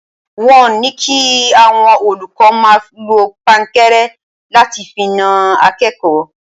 Wọ́n ní kí àwọn olùkọ́ máa lọ pankẹ́rẹ́ láti fi na akẹ́kọ̀ọ́.